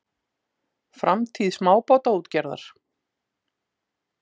Framtíð smábátaútgerðar?